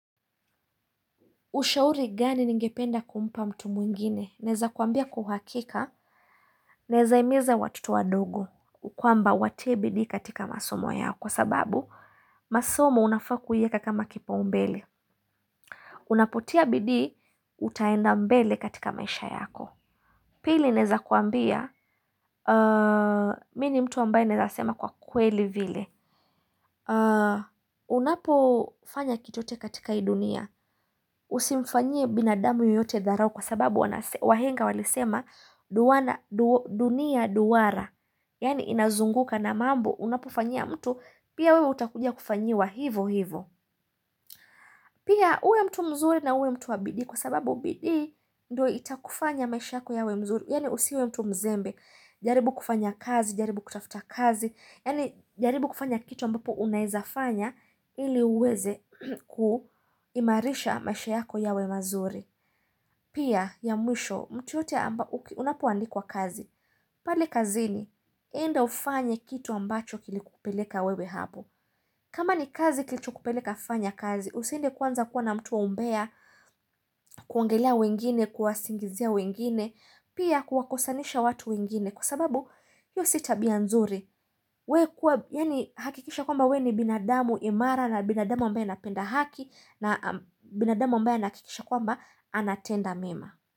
Ushauri gani ningependa kumpa mtu mwingine? Naeza kuambia kwa uhakika Naeza himiza watoto wadogo kwamba watie bidi katika masomo yao kwa sababu masomo unafaa kuiweka kama kipaumbele Unapotia bidii, utaenda mbele katika maisha yako Pili naeza kuambia, mimi ni mtu ambaye naeza sema kwa kweli vile Unapo fanya kitu chochote katika hii dunia Usimfanyie binadamu yoyote dharau Kwa sababu wahenga walisema dunia duara. Yani inazunguka na mambo Unapo fanya mtu Pia wewe utakuja kufanyiwa hivyo hivyo. Pia uwe mtu mzuri na uwe mtu wabidii Kwa sababu bidii ndo itakufanya maisha yako yawe mzuri Yani usiwe mtu mzembe jaribu kufanya kazi jaribu kutafuta kazi Yani jaribu kufanya kitu ambapo unaizafanya ili uweze kuimarisha maisha yako yawe mazuri. Pia, ya mwisho, mtu yoyote unapoandikwa kazi. Pale kazini, enda ufanye kitu ambacho kilikupeleka wewe hapo kama ni kazi kilichokupeleka fanya kazi, usiende kwanza kuwa na mtu wa umbea. Kuongelea wengine, kuwasingizia wengine, pia kuwakosanisha watu wengine. Kwa sababu, hiyo si tabia nzuri. We kuwa, yani hakikisha kwamba we ni binadamu imara na binadamu ambaye anapenda haki na binadamu ambae anahakikisha kwamba anatenda mema.